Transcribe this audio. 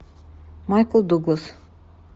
майкл дуглас